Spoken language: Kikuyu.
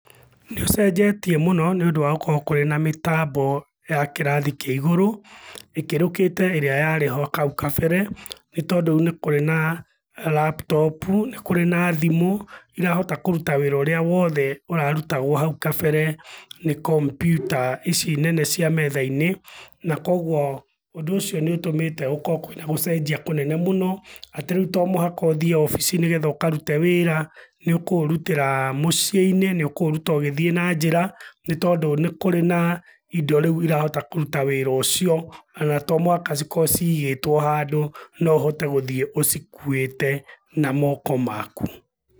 Nĩũcenjetie mũno nĩũndũ wa gũkorũo kũrĩ na mĩtambo ya kĩrathi kĩa igũrũ, ĩkĩrũkĩte ĩrĩa yarĩ ho kau kabere, nĩtondũ rĩu nĩ kũrĩ na, laptop u, nĩ kũrĩ na thimũ, irahota kũruta wĩra ũrĩa wothe ũrarutagwo hau kabere nĩ kombiuta ici nene cia metha-inĩ, na kuoguo ũndũ ũcio nĩũtũmĩte gũkorũo kwĩna gũcenjia kũnene mũno, atĩ rĩu to mũhaka ũthiĩ obici nĩgetha ũkarũte wĩra, nĩũkũũrutĩra mũciĩ-inĩ, nĩũkũũruta ũgĩthiĩ na njĩra, nĩtondũ nĩ kũrĩ na indo rĩu irahota kũruta wĩra ũcio, ona to mũhaka cikorwo cigĩtũo handũ, no ũhote gũthiĩ ũcikuĩte na moko maku.